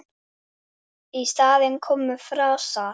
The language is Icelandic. Í staðinn komu frasar.